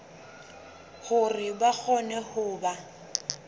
hore ba kgone ho ba